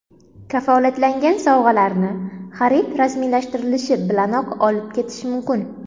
Kafolatlangan sovg‘alarni xarid rasmiylashtirilishi bilanoq olib ketish mumkin.